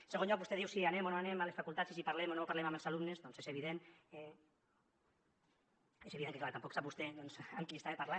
en segon lloc vostè diu si anem o no anem a les facultats i si parlem o no parlem amb els alumnes doncs és evident que clar tampoc sap vostè doncs amb qui estava parlant